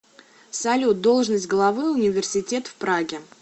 салют должность главы университет в праге